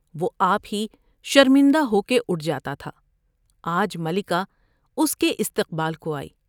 وہ آپ ہی شرمندہ ہو کے اٹھ جاتا تھا آج ملکہ اس کے استقبال کو آئی ۔